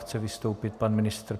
Chce vystoupit pan ministr?